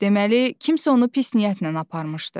Deməli, kimsə onu pis niyyətlə aparmışdı.